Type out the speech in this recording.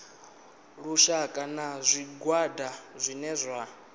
lushaka na zwigwada zwine zwa